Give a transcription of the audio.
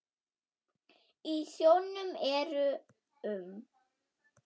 Í sjónum eru um